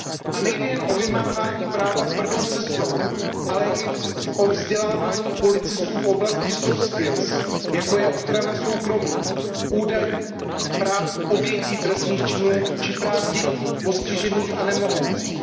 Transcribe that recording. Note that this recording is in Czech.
A nejde jen o vymáhání práva tvrdou cestou, ale i o vzdělávání policistů v oblasti jako je ochrana soukromí, údajů, práv obětí trestných činů či práv dětí, postižených a nemohoucích.